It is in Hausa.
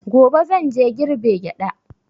Gobe zan je girbe gyaɗa.